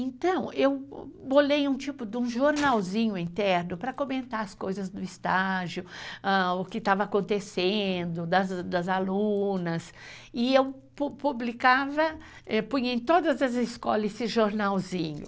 Então, eu bolei um tipo de um jornalzinho interno para comentar as coisas do estágio, o que estava acontecendo, das alunas, e eu pupublicava, punha em todas as escolas esse jornalzinho.